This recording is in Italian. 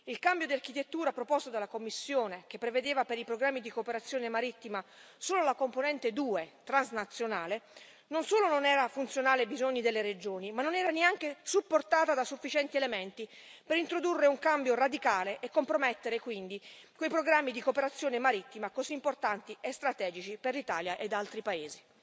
Il cambio di architettura proposto dalla Commissione, che prevedeva per i programmi di cooperazione marittima solo la componente due, transnazionale, non solo non era funzionale ai bisogni delle regioni, ma non era neanche supportata da sufficienti elementi, per introdurre un cambio radicale e compromettere quindi quei programmi di cooperazione marittima, così importanti e strategici per l'Italia ed altri paesi.